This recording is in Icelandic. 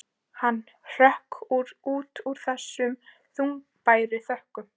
Hann hrökk út úr þessum þungbæru þönkum.